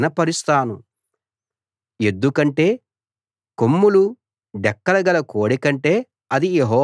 ఎద్దు కంటే కొమ్ములు డెక్కలు గల కోడె కంటే అది యెహోవాకు ఇష్టం